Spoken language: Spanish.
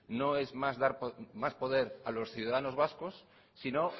no es dar más poder a los ciudadanos vascos sino